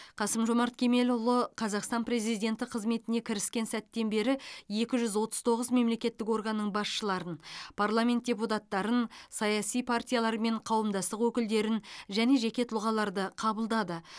қасым жомарт кемелұлы қазақстан президенті қызметіне кіріскен сәттен бері екі жүз отыз тоғыз мемлекеттік органның басшыларын парламент депутаттарын саяси партиялар мен қауымдастық өкілдерін және жеке тұлғаларды қабылдады